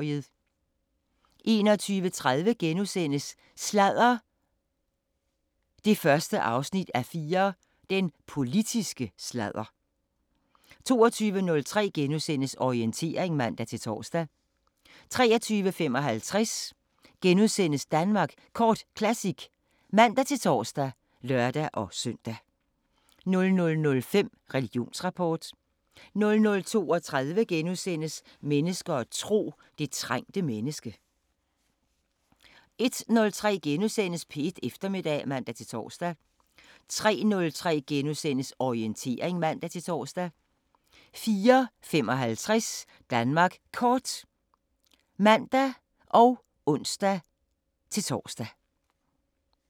21:30: Sladder 1:4: Den politiske sladder * 22:03: Orientering *(man-tor) 23:55: Danmark Kort Classic *(man-tor og lør-søn) 00:05: Religionsrapport 00:32: Mennesker og tro: Det trængte menneske * 01:03: P1 Eftermiddag *(man-tor) 03:03: Orientering *(man-tor) 04:55: Danmark Kort (man og ons-tor)